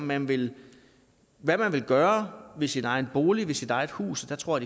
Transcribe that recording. man vil gøre ved sin bolig sit hus jeg tror